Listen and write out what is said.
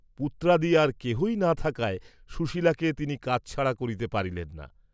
পুত্রাদি আর কেহই না থাকায় সুশীলাকে তিনি কাছছাড়া করিতে পারিলেন না।